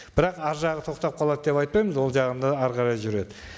бірақ арғы жағы тоқтап қалады деп айтпаймыз ол жағы да әрі қарай жүреді